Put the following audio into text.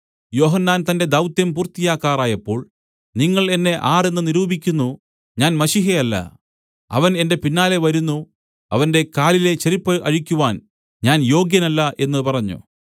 യോഹന്നാൻ തന്റെ ദൗത്യം പൂർത്തിയാക്കാറായപ്പോൾ നിങ്ങൾ എന്നെ ആർ എന്ന് നിരൂപിക്കുന്നു ഞാൻ മശീഹയല്ല അവൻ എന്റെ പിന്നാലെ വരുന്നു അവന്റെ കാലിലെ ചെരിപ്പു അഴിക്കുവാൻ ഞാൻ യോഗ്യനല്ല എന്നു പറഞ്ഞു